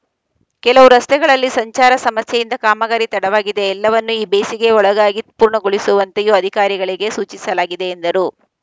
ಕೆಲವು ರಸ್ತೆಗಳಲ್ಲಿ ಸಂಚಾರ ಸಮಸ್ಯೆಯಿಂದ ಕಾಮಗಾರಿ ತಡವಾಗಿದೆ ಎಲ್ಲವನ್ನೂ ಈ ಬೇಸಿಗೆ ಒಳಗಾಗಿ ಪೂರ್ಣಗೊಳಿಸುವಂತೆಯೂ ಅಧಿಕಾರಿಗಳಿಗೆ ಸೂಚಿಸಲಾಗಿದೆ ಎಂದರು